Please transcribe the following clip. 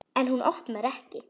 En hún opnar ekki.